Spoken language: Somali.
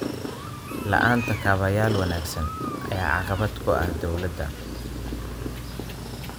La'aanta kaabayaal wanaagsan ayaa caqabad ku ah dowladda.